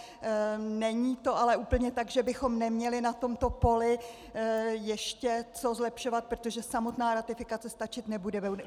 Není to ale úplně tak, že bychom neměli na tomto poli ještě co zlepšovat, protože samotná ratifikace stačit nebude.